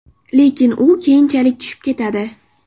Lekin u keyinchalik tushib ketadi.